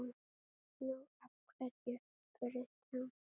Nú, af hverju? spurði Stjáni.